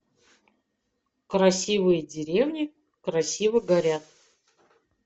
красивые деревни красиво горят